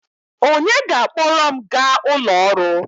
Onye ga-akpọrọ m gaa ụlọ ọrụ?